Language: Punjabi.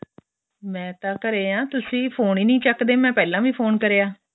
ਮੈਂ ਤਾਂ ਘਰੇ ਹਾਂ ਤੁਸੀਂ ਫੋਨ ਏ ਨਹੀਂ ਚੱਕਦੇ ਮੈਂ ਪਹਿਲਾਂ ਵੀ ਫੋਨ ਕਰਿਆ